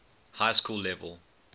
high school level